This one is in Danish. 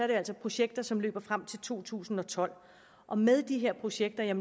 det altså projekter som løber frem til to tusind og tolv og med de her projekter er